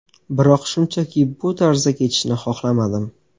Biroq shunchaki bu tarzda ketishni xohlamadim”.